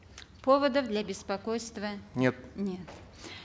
поводов для беспокойства нет нет